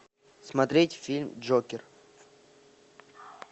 смотреть фильм джокер